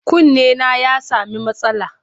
Kunnena ya sami matsala.